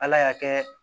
Ala y'a kɛ